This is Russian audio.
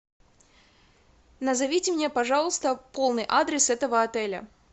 назовите мне пожалуйста полный адрес этого отеля